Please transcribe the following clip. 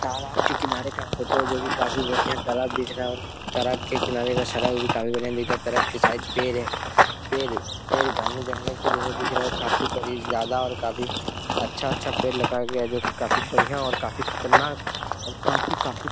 तालाब के किनारे का फोटो जो भी काफी बढ़िया तालाब तरह दिख रहा है और तराब के किनारे का सराह भी काफ़ी बढ़िया दिख रहा है। तालाब के साइड पेड़ है पेड़ पेड़ घने जंगल के जैसा दिख रहा है काफी करीब ज्यादा और काफी अच्छा अच्छा पेड़ लगाया हुआ है जो कि काफी बढ़िया और काफी खतरनाक और काफी काफी --